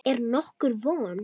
Er nokkur von?